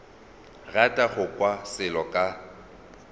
rata go kwa selo ka